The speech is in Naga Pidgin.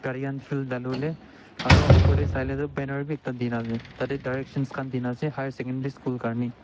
dano le aru upper te banner b ekta dekina ase etia te direction khan dena ase tiate hr sec school karne.